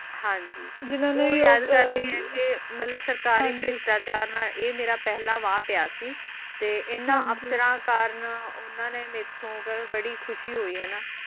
ਹਾਂਜੀ ਉਹ ਯਾਦ ਕਰਦੀ ਹੈ ਕ ਸਰਕਾਰੀ ਪ੍ਰੀਚਾਚਾਰ ਨਾਲ ਇਹ ਮੇਰਾ ਪਹਿਲਾ ਵਾ ਪਿਆਰ ਸੀ ਇਨ੍ਹਾਂ ਅਸ਼ਕਰਾਂ ਕਰ ਉਨ੍ਹਾਂ ਨ ਮੇਂ ਥੁ ਬੜੀ ਖੁਸ਼ੀ ਹੁਈ ਹੈ ਨਾ